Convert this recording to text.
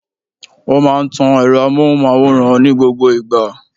Ó máa n tan èro amóhùnmáwòrán ní gbogbo ìgbà